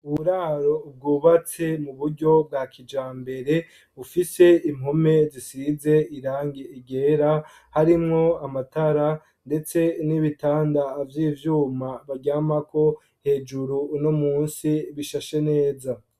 Uburaro ubwubatse mu buryo bwa kija mbere ufise impome zisize irange igera harimwo amatara, ndetse n'ibitanda avyo ivyuma baryamako hejuru uno musi bishashe neza.